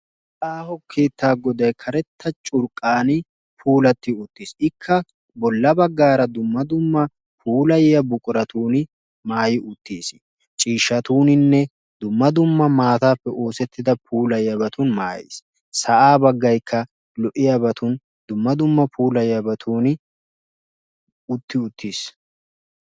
Aaho keettaa goday karetta curqqaan puulatti uttiis. Ikka bolla baggaara dumma dumma puulayiya buquratuun maay uttiis. Ciishshatuuninne dumma dumma maataappe oosttida puulayiyabatun maayiis. Sa'aa baggaykka lo''iyabatun dumma dumma puulayiyabatuun utti uttiis.